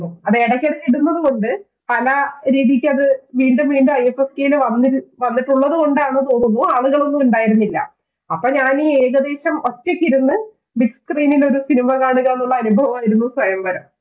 അത് ഇടയ്ക്കിടയ്ക്ക് ഇടുന്നതുകൊണ്ട് പല രീതിക്കും അത് വീണ്ടും വീണ്ടും i f f k ടെ വന്നിട്ടുള്ളതുകൊണ്ടാണെന്ന് തോന്നുന്നു ആളുകൾ ഒന്നും ഉണ്ടായിരുന്നില്ല അപ്പോൾ ഞാനീ ഏകദേശം ഒറ്റയ്ക്കിരുന്ന് Bigscreen ൽ ഒരു cinema കാണുക എന്നുള്ള ഒരു അനുഭവമായിരുന്നു സ്വയംവരം